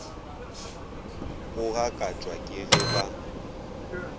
go gakatšwa ke ge ba